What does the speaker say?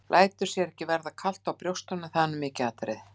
Lætur sér ekki verða kalt á brjóstunum, það er nú mikið atriði.